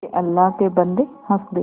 के अल्लाह के बन्दे हंस दे